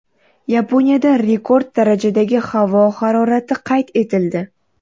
Yaponiyada rekord darajadagi havo harorati qayd etildi.